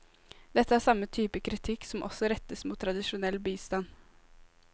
Dette er samme type kritikk som også rettes mot tradisjonell bistand.